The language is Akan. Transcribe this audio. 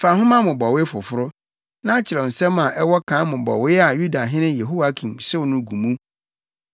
“Fa nhoma mmobɔwee foforo, na kyerɛw nsɛm a ɛwɔ kan mmobɔwee a Yudahene Yehoiakim hyew no gu mu.